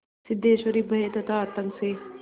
सिद्धेश्वरी भय तथा आतंक से